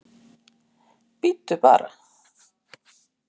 Bíddu bara!